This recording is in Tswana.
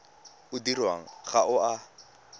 o dirwang ga o a